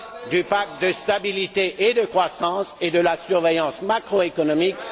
de stabilité et de croissance et de la surveillance macroéconomique.